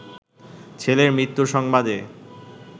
ছেলের মৃত্যুর সংবাদে